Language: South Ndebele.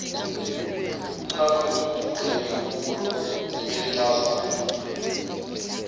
umnakwethu uvule ibubulo elincazana